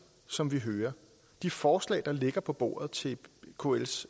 som vi hører de forslag der ligger på bordet til kls